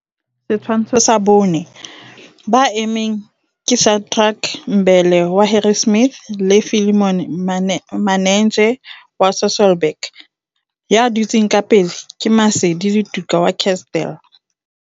Setshwantsho sa 4. Ba emeng ke Shadrack Mbele wa Harrismith le Philemon Manenzhe wa Sasolburg. Ya dutseng ka pele ke Maseli Letuka wa Kestell.